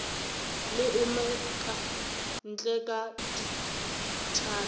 le omeka ntleme ka dithala